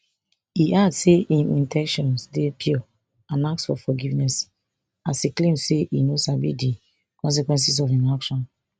e add say im in ten tions dey pure and ask for forgiveness as e claim say e no sabi di consequences of im action